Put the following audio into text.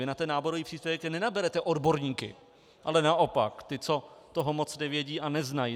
Vy na ten náborový příspěvek nenaberete odborníky, ale naopak ty, co toho moc nevědí a neznají.